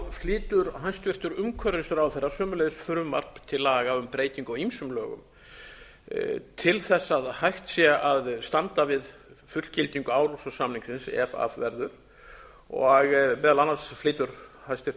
flytur hæstvirtur umhverfisráðherra sömuleiðis frumvarp til laga um breytingu á ýmsum lögum til þess að hægt sé að standa við fullgildingu árla samningsins ef af verður og meðal annars flytur hæstvirtur